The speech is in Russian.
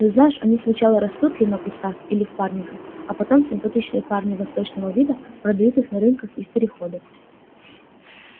ну знаешь они сначала растут ли на кустах или в парниках а потом симпатичные парни восточного вида продают их на рынках и в перехода